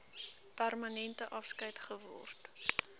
permanente afskeid geword